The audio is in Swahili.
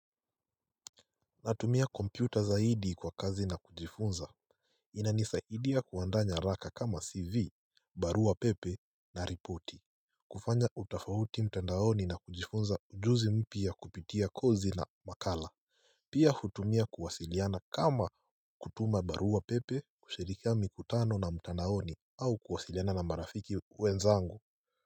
Natumia kompyuta zaidi kwa kazi na kujifunza inanisaidia kuanda nyaraka kama CV, barua pepe na ripoti kufanya utafauti mtandaoni na kujifunza ujuzi mpya kupitia kozi la makala Pia hutumia kuwasiliana kama kutuma barua pepe, kushirikia mikutano na mtandaoni au kuwasiliana na marafiki wenzangu.